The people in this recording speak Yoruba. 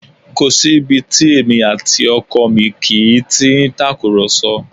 Kò sí ibi tí èmi àti ọkọ mi kì í ti í tàkùrọ̀sọ